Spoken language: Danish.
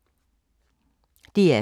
DR2